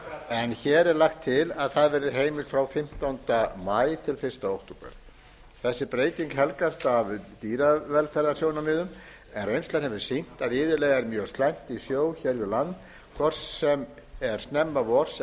en hér er lagt til að það verði heimilt frá fimmtánda maí til fyrsta október þessi breyting helgast af dýravelferðarsjónarmiðum en reynslan hefur sýnt að iðulega er mjög slæmt í sjó hér við land hvort sem er snemma vors